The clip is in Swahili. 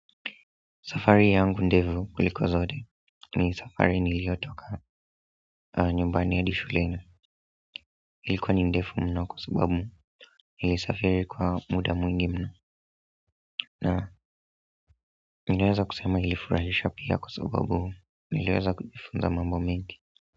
Safari yangu ndevu kuliko zote ni safari niliyotoka nyumbani hadi shuleni ilikuwa ni ndefu mno kwa sababu nilisafiri kwa muda mwingi mno na niliweza kusema ilifurahisha pia kwa sababu niliweza kujifunza mambo mengi.